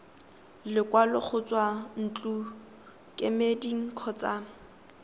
lekwalo go tswa ntlokemeding kgotsa